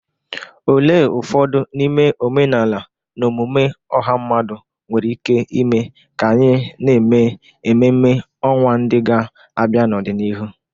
Olee ụfọdụ n'ime omenala na omume ọha mmadụ nwere ike ime ka anyị na-eme ememme ọnwa ndị ga-abịa n'ọdịnihu?